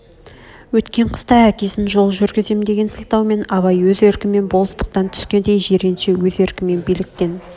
өткен қыста әкесін жол жүргізем деген сылтаумен абай өз еркмен болыстықтан түскенде жиренше өз еркмен билктен